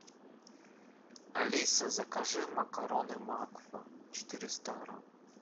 алиса закажи макароны макфа четыреста грамм